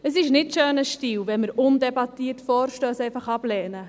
Es ist kein schöner Stil, wenn wir Vorstösse undebattiert ablehnen.